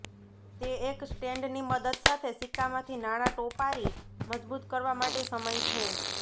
તે એક સ્ટેન્ડ ની મદદ સાથે સિક્કા માંથી નાણાં ટોપારી મજબૂત કરવા માટે સમય છે